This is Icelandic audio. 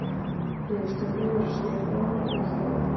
Niðurstöðurnar voru svipaðar og hjá